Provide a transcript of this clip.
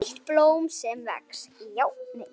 EITT BLÓM SEM VEX